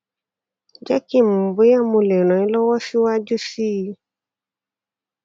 jé kí n mọ bóyá mo lè ràn ẹ lọwọ síwájú sí i